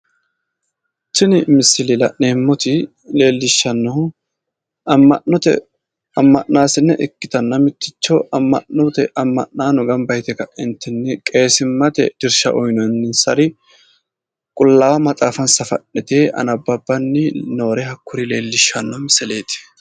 Tini misile la'neemmoti leellishshannohu amma'note amma'naasine ikkitanna mitticho amma'note amma'naano gamba yite ka'eentinni qeesimmate dirsha uyinoonninsari qullaawa maxaafansa fa'nite anababbanni noore hakkuri leellishshanno misileeti.